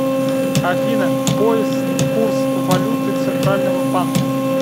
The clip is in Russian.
афина поиск курс валюты центрального банка